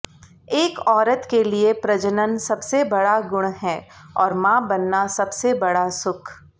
एक औरत के लिए प्रजनन सबसे बड़ा गुण है और माँ बनना सबसे बड़ा सुख